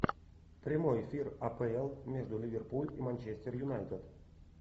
прямой эфир апл между ливерпуль и манчестер юнайтед